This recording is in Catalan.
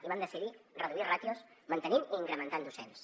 i vam decidir reduir ràtios mantenint i incrementant docents